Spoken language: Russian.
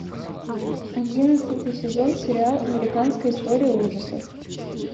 одиннадцатый сезон сериал американская история ужасов